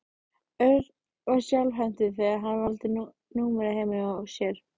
Örn var skjálfhentur þegar hann valdi númerið heima hjá sér.